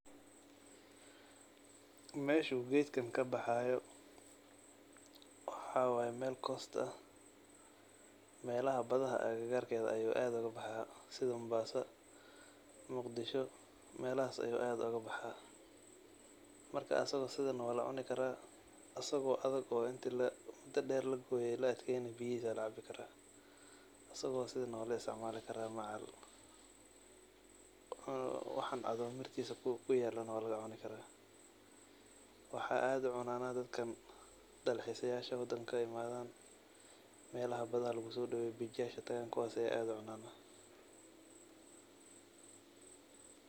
Meeshu gedkan kabaxayo waxa waye meel coast ah melaha aggarka badaa ayu gedkan kabaxa sida Mombasa, Muqdisho melahas ayu aad ogabaxa markas asago sidan ah walacuni kara asago intii muda deer laguye laadkeyana biyahisa walacabi kara asago sidan ah walaisticmali kara waxan caado korkisa kuyalana walacuni kara. Waxa aad ucunan dadkan dalxisayasha ee wadanka aadd uimadan ee [cs[beach yasha tagan aya aad ucunan.